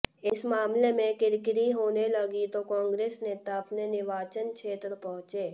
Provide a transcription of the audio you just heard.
इस मामले में किरकिरी होने लगी तो कांग्रेस नेता अपने निर्वाचन क्षेत्र पहुंचे